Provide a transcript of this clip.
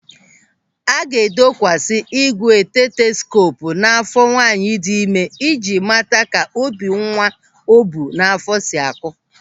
A ga-edokwasi ígwè steteskoopu n'áfọ́ nwaanyị dị ịme i ji mata ka obi nwa o bu n'áfọ́ si a kụ.